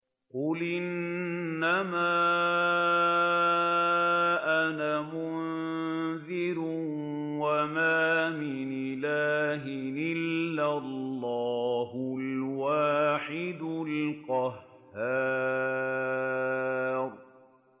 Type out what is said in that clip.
قُلْ إِنَّمَا أَنَا مُنذِرٌ ۖ وَمَا مِنْ إِلَٰهٍ إِلَّا اللَّهُ الْوَاحِدُ الْقَهَّارُ